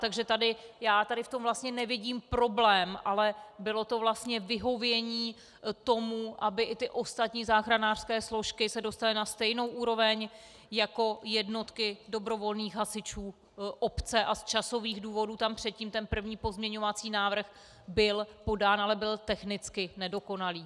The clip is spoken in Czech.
Takže já tady v tom vlastně nevidím problém, ale bylo to vlastně vyhovění tomu, aby i ty ostatní záchranářské složky se dostaly na stejnou úroveň jako jednotky dobrovolných hasičů obce, a z časových důvodů tam předtím ten první pozměňovací návrh byl podán, ale byl technicky nedokonalý.